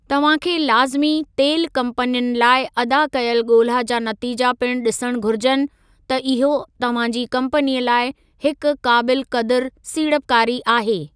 तव्हां खे लाज़िमी तेलु कम्पनियुनि लाइ अदा कयल ॻोल्हा जा नतीजा पिणु ॾिसणु घुरिजनि त इहो तव्हां जी कम्पनी लाइ हिक क़ाबिलु क़दुर सीड़पकारी आहे।